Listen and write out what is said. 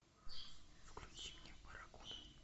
включи мне барракуда